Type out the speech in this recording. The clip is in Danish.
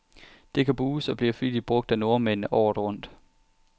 Det kan bruges, og bliver flittigt brug af nordmændene, året rundt.